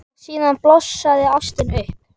Og síðan blossar ástin upp.